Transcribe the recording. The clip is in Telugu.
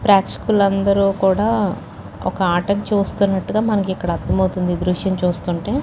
ప్రేక్షకులందరూ కూడా ఒక ఆటను చూస్తున్నట్టుగా మనకి ఇక్కడ అర్థం అవుతుంది ఈ దృశ్యం చూస్తుంటే.